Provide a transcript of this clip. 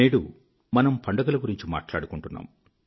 నేడు మనం పండుగల గురించి మాట్లాడుకుంటున్నాం